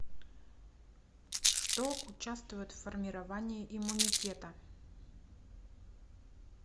что участвует в формировании иммунитета